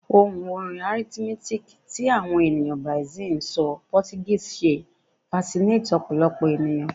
Ohun orin rhythmic ti awọn eniyan Brazil ti n sọ Portuguese ṣe fasinates ọpọlọpọ eniyan